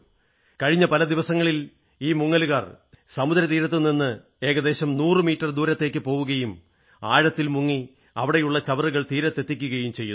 കഴിഞ്ഞ പല ദിവസങ്ങളായിൽ ഈ മുങ്ങലുകാർ സമുദ്രത്തിൽ തീരത്തുനിന്ന് ഏകദേശം 100 മീറ്റർ ദൂരേക്കു പോവുകയും ആഴത്തിൽ മുങ്ങി അവിടെയുള്ള ചവറുകൾ തീരത്തെത്തിക്കുകയും ചെയ്യുന്നു